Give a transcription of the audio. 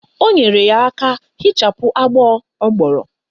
O nyere ya aka hichapụ agbọ ọ gbọrọ